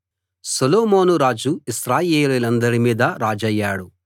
సొలొమోను రాజు ఇశ్రాయేలీయులందరి మీదా రాజయ్యాడు